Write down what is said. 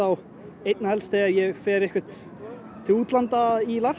einna helst þegar ég fer til útlanda í